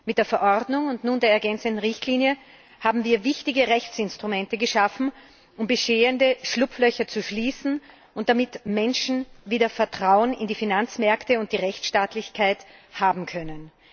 Mit der Verordnung und nun der ergänzenden Richtlinie haben wir wichtige Rechtsinstrumente geschaffen, um bestehende Schlupflöcher zu schließen und damit Menschen wieder Vertrauen in die Finanzmärkte und die Rechtsstaatlichkeit haben können.